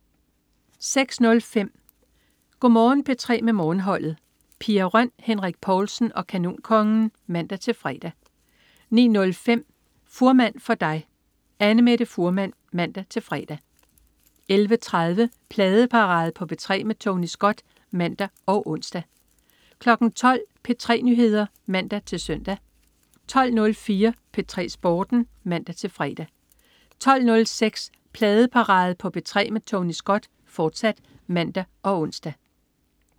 06.05 Go' Morgen P3 med Morgenholdet. Pia Røn, Henrik Povlsen og Kanonkongen (man-fre) 09.05 Fuhrmann for dig. Annamette Fuhrmann (man-fre) 11.30 Pladeparade på P3 med Tony Scott (man og ons) 12.00 P3 Nyheder (man-søn) 12.04 P3 Sporten (man-fre) 12.06 Pladeparade på P3 med Tony Scott, fortsat (man og ons)